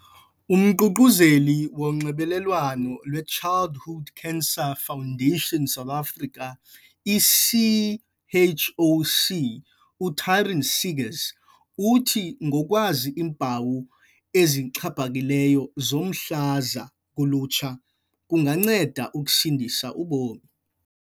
UMququzeleli woNxibelelwano lweChildhood Cancer Foundation South Africa, i-CHOC, u-Taryn Seegers uthi ngokwazi iimpawu ezixhaphakileyo zomhlaza kulutsha, kunganceda ukusindisa ubomi.